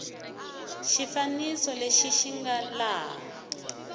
xifaniso lexi xi nga laha